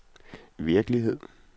virkelighed